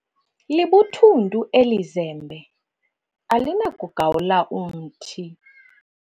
Libuthuntu eli zembe alinakugawula umthi.